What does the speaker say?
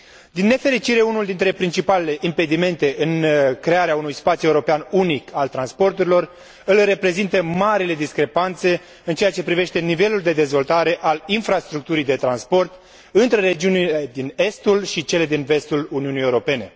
Din nefericire, unul dintre principalele impedimente în crearea unui spațiu european unic al transporturilor îl reprezintă marile discrepanțe în ceea ce privește nivelul de dezvoltare al infrastructurii de transport între regiunile din estul și cele din vestul Uniunii Europene.